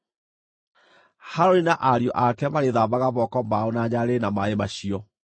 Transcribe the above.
Harũni na ariũ ake marĩĩthambaga moko mao na nyarĩrĩ na maaĩ macio.